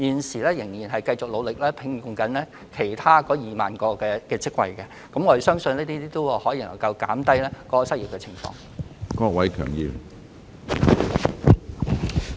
政府現正繼續努力招聘其餘2萬個職位，我們相信這些措施能夠減低失業率。